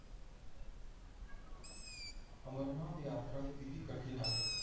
अमरनाथ यात्रा किती कठीण आहे?